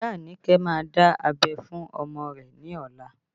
Iya Anike má dá abẹ́ fún ọmọ rẹ ní ọ̀la